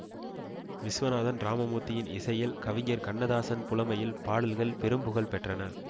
விஸ்வநாதன்ராமமூர்த்தியின் இசையில் கவிஞர் கண்ணதாசன் புலமையில் பாடல்கள் பெரும்புகழ் பெற்றன